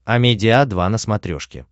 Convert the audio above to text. амедиа два на смотрешке